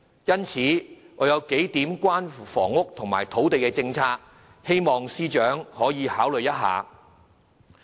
因此，我有數項關於房屋和土地政策的論點，希望司長可以考慮一下。